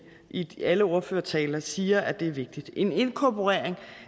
i alle ordførertaler siger er vigtigt en inkorporering